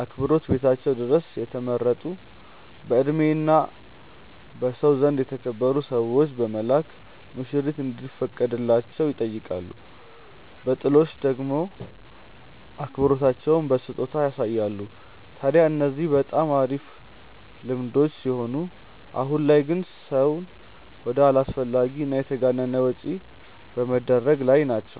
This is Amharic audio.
አክብሮት ቤታቸው ድረስ የተመረጡ በእድሜ እና በሰው ዘንድ የተከበሩ ሰዎችን በመላክ ሙሽሪት እንዲፈቀድላቸው ይጠይቃሉ። በጥሎሽ ደሞ አክብሮታቸውን በስጦታ ያሳያሉ። ታድያ እነዚህ በጣም አሪፍ ልምዶች ሲሆኑ አሁን ላይ ግን ሰውን ወደ አላስፈላጊ እና የተጋነነ ወጪ ላይ በመደረግ ላይ ናቸው።